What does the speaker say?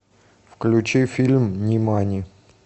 включи фильм нимани